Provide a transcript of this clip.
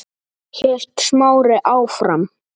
hélt Smári áfram.